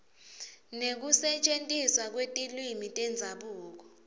nekusetjentiswa kwetilwimi tendzabuko